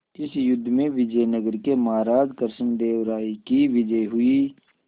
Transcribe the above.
इस युद्ध में विजय नगर के महाराज कृष्णदेव राय की विजय हुई